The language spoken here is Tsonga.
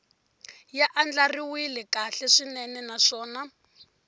ya andlariwile kahle swinene naswona